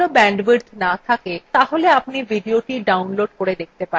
যদি ভাল bandwidth না থাকে তাহলে আপনি ভিডিওটি download করে দেখতে পারেন